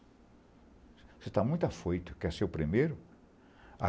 Você está muito afoito, quer ser o primeiro?